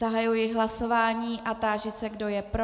Zahajuji hlasování a táži se, kdo je pro.